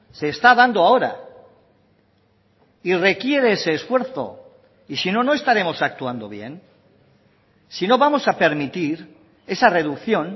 se está dando ahora y requiere ese esfuerzo y si no no estaremos actuando bien si no vamos a permitir esa reducción